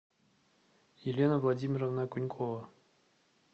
елена владимировна окунькова